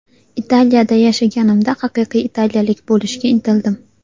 Italiyada yashaganimda, haqiqiy italiyalik bo‘lishga intildim.